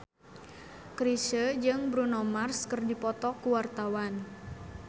Chrisye jeung Bruno Mars keur dipoto ku wartawan